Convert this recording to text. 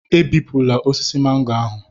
Ebipụla osisi mango ahụ